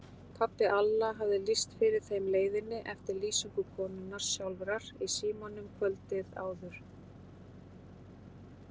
Pabbi Alla hafði lýst fyrir þeim leiðinni eftir lýsingu konunnar sjálfrar í símanum kvöldið áður.